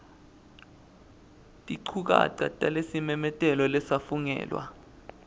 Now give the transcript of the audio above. tinchukaca talesimemetelo lesafungelwa